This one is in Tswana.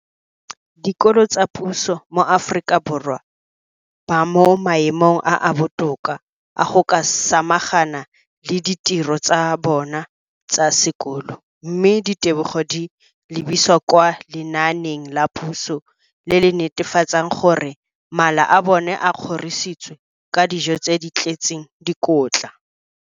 Dikolo tsa puso mo Aforika Borwa ba mo maemong a a botoka a go ka samagana le ditiro tsa bona tsa sekolo, mme ditebogo di lebisiwa kwa lenaaneng la puso le le netefatsang gore mala a bona a kgorisitswe ka dijo tse di tletseng dikotla.